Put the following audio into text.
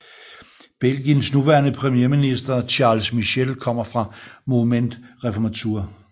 Belgiens nuværende premierminister Charles Michel kommer fra Mouvement Réformateur